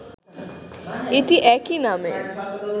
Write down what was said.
এটি একই নামে